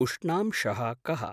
उष्णांशः कः?